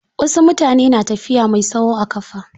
Wasu mutane na tafiya mai tsawo a ƙafa.